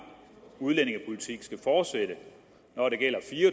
udlændingepolitik skal fortsætte når det gælder fire